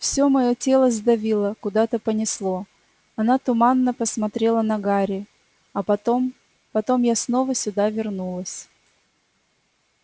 всё моё тело сдавило куда-то понесло она туманно посмотрела на гарри а потом потом я снова сюда вернулась